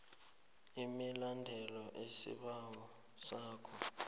imibandela isibawo sakho